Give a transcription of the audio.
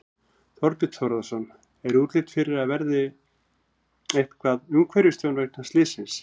Þorbjörn Þórðarson: Er útlit fyrir að það verði eitthvað umhverfistjón vegna slyssins?